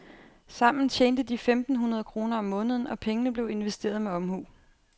Sammen tjente de femten hundrede kroner om måneden, og pengene blev investeret med omhu.